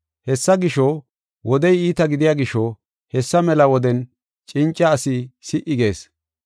Hessa gisho, wodey iita gidiya gisho, hessa mela woden cinca asi si77i gees.